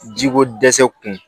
Jiko dɛsɛ kun